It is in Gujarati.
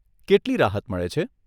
કેટલી રાહત મળે છે?